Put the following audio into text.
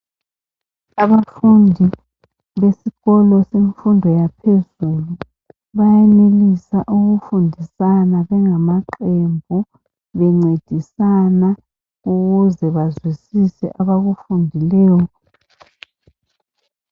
Abafundi besikolo semfundo yaphezulu bayenelisa ukufundisana bengamaqembu bencedisana ukuze bazwisise abakufundileyo